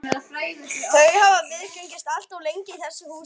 Þau hafa viðgengist allt of lengi í þessu húsi.